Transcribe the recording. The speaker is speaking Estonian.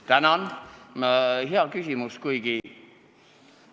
Tänan, hea küsimus!